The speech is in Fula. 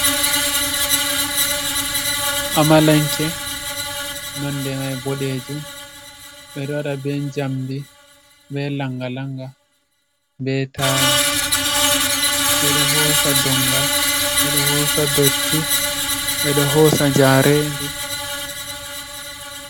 Amalanke, nonde mai boɗejum, ɓeɗo waɗa be jamdi be langa langa be taya, ɓeɗo hosa dongal, ɓeɗo hosa dotti ɓeɗo hosa njaredi.